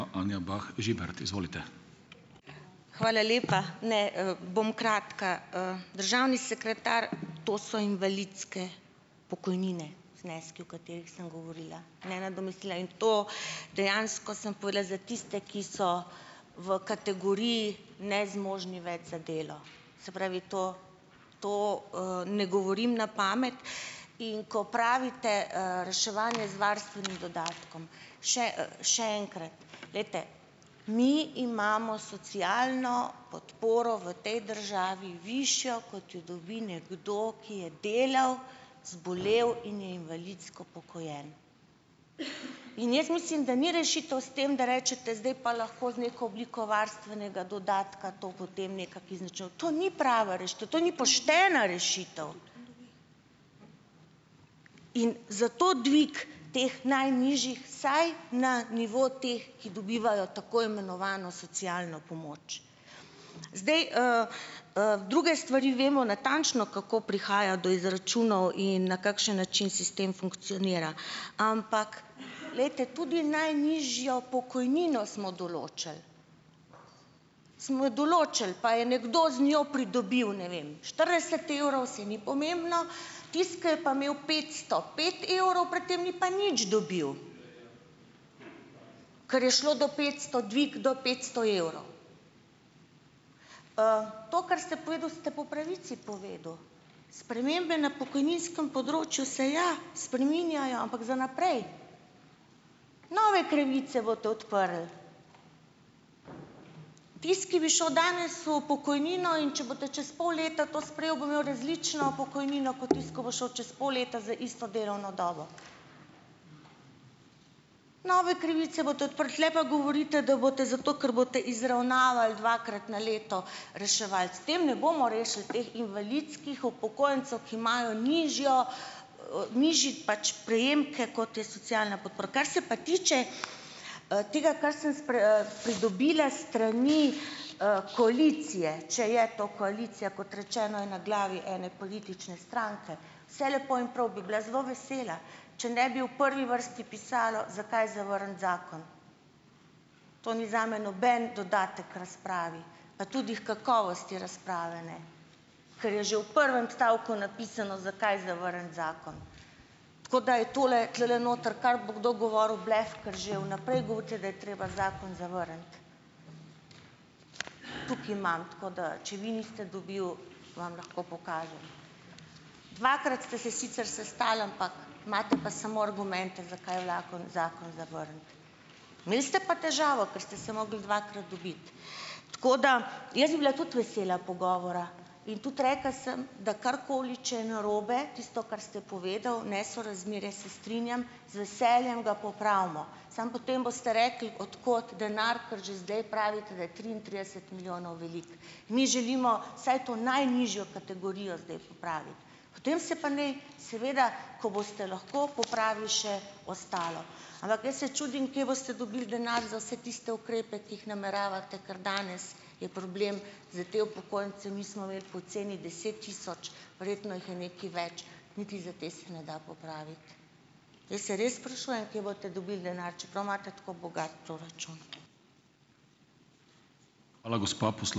Anja Bah Žibert, izvolite. Hvala lepa, ne, bom kratka, državni sekretar, to so invalidske pokojnine, zneski, o katerih sem govorila, dejansko sem povedala za tiste, ki so v kategoriji nezmožni več za delo, se pravi, to to, ne govorim na pamet, in ko pravite, reševanje z varstvenim dodatkom, še, še enkrat, glejte, mi imamo socialno podporo v tej državi višjo, kot jo dobi nekdo, ki je delal, zbolel in je invalidsko upokojen, in jaz mislim, da ni rešitev s tem, da rečete, zdaj pa lahko z neko obliko varstvenega dodatka to potem nekako izničili, to ni prava rešitev, to ni poštena rešitev. In zato dvig teh najnižjih vsaj na nivo teh, ki dobivajo tako imenovano socialno pomoč, zdaj, druge stvari vemo natančno, kako prihaja do izračunov in na kakšen način sistem funkcionira, ampak glejte, tudi najnižjo pokojnino smo določili, smo jo določili, pa je nekdo z njo pridobil, ne vem, štirideset evrov, saj ni pomembno, tisti, ki je pa imel petsto pet evrov pred tem, ni pa nič dobil, kar je šlo do petsto, dvig do petsto evrov, to, kar ste povedali, ste po pravici povedali, spremembe na pokojninskem področju se, ja, spreminjajo, ampak za naprej nove pravice boste odprli, tisti, ki bi šel danes v pokojnino, in če boste čez pol leta to sprejel, bo imel različno pokojnino kot tisto, ko bo šel čez pol leta za isto delovno dobo. Nove krivice boste odprli, tule pa govorite, da boste zato, ker boste izravnavali dvakrat na leto, reševali, s tem ne bomo rešili teh invalidskih upokojencev, ki imajo nižjo, nižji pač prejemke, kot je socialna podpora, kaj se pa tiče, tega, kar sem pridobila s strani, koalicije, če je to koalicija, kot rečeno, je na glavi ene politične stranke, vse lepo in prav, bi bila zelo vesela, če ne bi v prvi vrsti pisalo, zakaj zavrniti zakon, to ni zame noben dodatek k razpravi pa tudi h kakovosti razprave ne, ker je že v prvem stavku napisano, zakaj zavrniti zakon, tako da je tole tulele noter, kar bo kdo govoril, blef, ker že v naprej govorite, da je treba zakon zavrniti. Tukaj imam, tako da če vi niste dobil, vam lahko pokažem, dvakrat ste se sicer sestali, ampak imate pa samo argumente, zakaj zakon zakon zavrniti, imeli ste pa težavo, ker ste se mogli dvakrat dobiti, tako da jaz bi bila tudi vesela pogovora, in tudi rekla sem, da karkoli če je narobe, tisto, kar ste povedal, nesorazmerje, se strinjam, z veseljem ga popravimo, samo potem boste rekli: "Od kod denar?" Ker že zdaj pravite, da je triintrideset milijonov veliko. Mi želimo vsaj to najnižjo kategorijo zdaj popraviti, potem se pa ne, seveda ko boste lahko popravili še ostalo, ampak veste, čudim, kje boste dobili denar za vse tiste ukrepe, ki jih nameravate, kar danes je problem za te upokojence, nismo imeli po ceni deset tisoč, verjetno jih je nekaj več, niti za te se ne da popraviti, jaz se res sprašujem, kje boste dobili denar, čeprav imate tako bogat proračun. Hvala, gospa ...